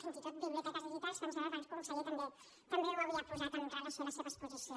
fins i tot biblioteques digitals que em sembla que el conseller també ho havia posat amb relació a la seva exposició